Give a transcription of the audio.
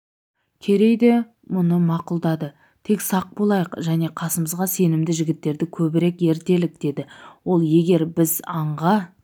керей де бұны мақұлдады тек сақ болайық және қасымызға сенімді жігіттерді көбірек ертелік деді ол егер біз аңға